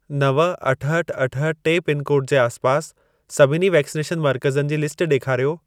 नव, अठहठि, अठहठि, टे पिनकोड जे आसपास सभिनी वैक्सनेशन मर्कज़नि जी लिस्ट ॾेखारियो।